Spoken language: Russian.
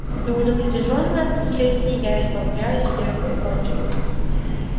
и уж определённо от последней я избавлюсь в первую очередь